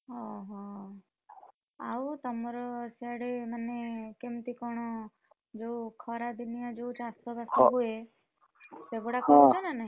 ଓହୋଃ, ଆଉ ତମର ସିଆଡେ ମାନେ କେମିତି କଣ, ଯୋଉ ଖରାଦିନିଆ ଯୋଉ ଚାଷ ବାସ ହୁଏ, ହଁ ସେଗୁଡା ହଉଛି ନା ନାହିଁ?